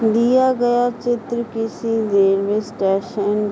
दिया गया चित्र किसी रेलवे स्टेशन --